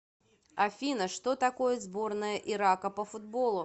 афина что такое сборная ирака по футболу